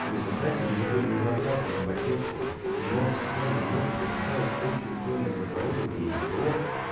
в результате ежегодные затраты на поддержку и ремонт систем намного превышает общую стоимость оборудования ипо